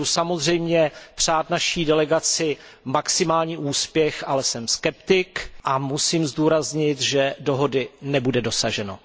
Budu samozřejmě přát naší delegaci maximální úspěch, ale jsem skeptik a musím zdůraznit, že dohody nebude dosaženo.